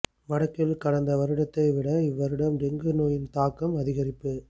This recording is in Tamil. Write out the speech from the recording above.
வடக்கில் கடந்த வருடத்தை விட இவ் வருடம் டெங்கு நோயின் தாக்கம் அதிகரிப்பு